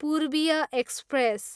पूर्बीय express